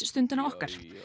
Stundina okkar